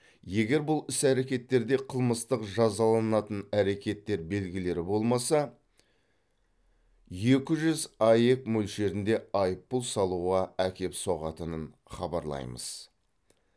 егер бұл іс әрекеттерде қылмыстық жазаланатын әрекеттер белгілері болмаса екі жүз аек мөлшерінде айыппұл салуға әкеп соғатынын хабарлаймыз